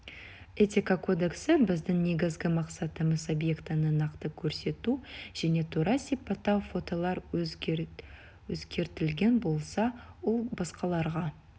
этика кодексі біздің негізгі мақсатымыз объектіні нақты көрсету және тура сипаттау фотолар өзгертілген болса ол басқаларға